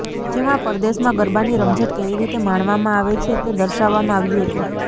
જેમાં પરદેશમાં ગરબાની રમઝટ કેવી રીતે માણવામાં આવે છે તે દર્શાવવામાં આવ્યું હતું